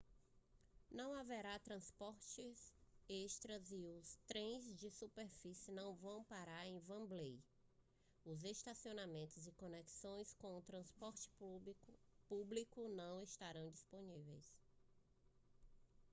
não haverá transporte extra e os trens de superfície não vão parar em wembley os estacionamentos e conexões com o transporte público não estarão disponíveis